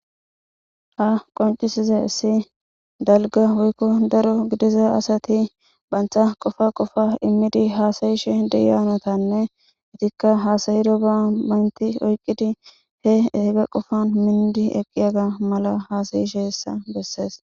Ha misiley qoncisizaysi dalga woyko daro gidiza asati banta qopay qopay immidi hasayishe de'iya naytanne etika hasayidoga amaneti oyqidi he ba qopan minidi eqidoga mala hasa'izaysa besses.